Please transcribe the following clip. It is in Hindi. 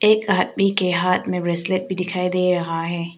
एक आदमी के हाथ में ब्रेसलेट भी दिखाई दे रहा है।